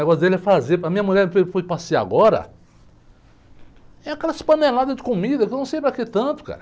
O negócio dele é fazer, a minha mulher foi foi passear agora, é aquela panelada de comida, que eu não sei para que tanto, cara.